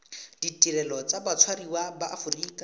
ditirelo tsa batshwariwa ba aforika